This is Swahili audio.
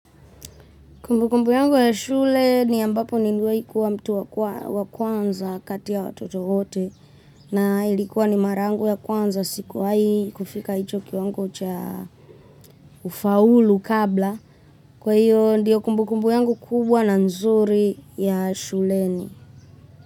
Kumbu kumbu yangu ya shule ni ambapo nimewai kuwa mtu wa kwanza kati ya watoto wote na ilikuwa ni mara yangu ya kwanza sikuwa hii kufika hicho kiwango cha kufaulu kabla. Kwa hiyo ndiyo kumbukumbu yangu kubwa na nzuri ya shuleni.